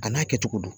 A n'a kɛcogo don